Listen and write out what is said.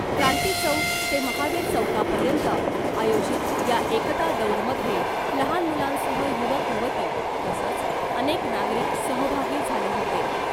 क्रांतीचौक ते महावीर चौकापर्यंत आयोजित या एकता दौडमध्ये , लहान मुलांसह युवक युवती तसंच अनेक नागरिक सहभागी झाले होते .